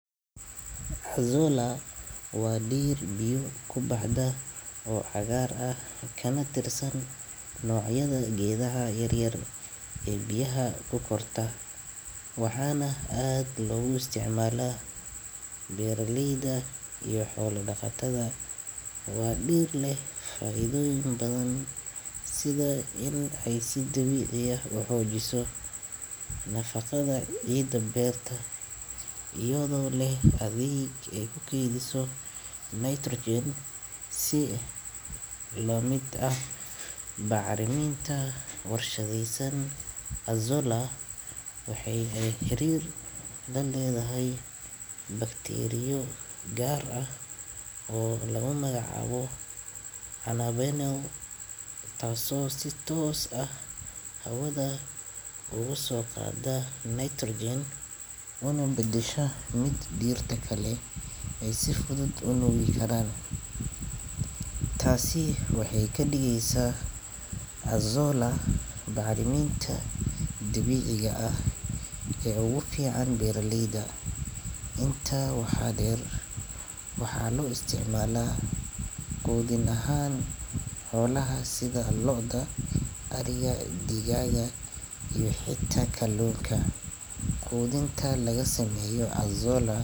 Hazula wa dir biyo kubaxda oo cagar ah kanatirsan nocyada gedaha yaryar ee biyaha kukorta ,wxana ad logu isticmala beraleyda iyo xolo daqatada waa dir leh faidoyin badan sitha in ay sidabici ah u xojiso nafaqada cida berta iyodo leh eeh atheg ay kukediyso nitrogen si lamid ah bacriminta warshadeysan azola, waxey ey xirer laledahay bacteria gar ah oo lagu magacabo anavinam tas o sites ah kugusoqada nitrogen una bedeshamid der leh ay sifudud u nugikaran ,tasi waxeykadigeysa azola ah barmin dabici ah kee ogu fican daleyda inta wxa der wxalo isticmala qudin ahan xolaha si loda, ariga, digaga iyo xita kalunka, qudinta lagasameyo azola.